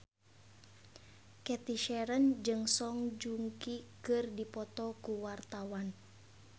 Cathy Sharon jeung Song Joong Ki keur dipoto ku wartawan